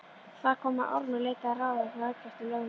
Þar kom að Ormur leitaði ráða hjá Eggerti lögmanni